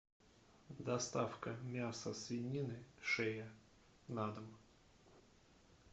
доставка мяса свинины шея на дом